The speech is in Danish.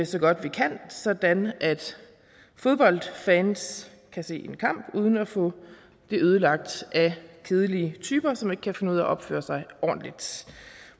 så godt vi kan sådan at fodboldfans kan se en kamp uden at få det ødelagt af kedelige typer som ikke kan finde ud af at opføre sig ordentligt